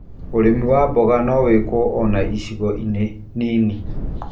ũrĩmi wa mboga no wĩkwo ona icigo-inĩ nini.